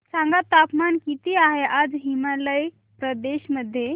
सांगा तापमान किती आहे आज हिमाचल प्रदेश मध्ये